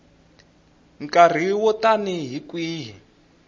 nkarhi wo tani hi kwihi